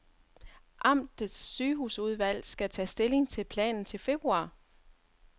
Amtets sygehusudvalg skal tage stilling til planen til februar.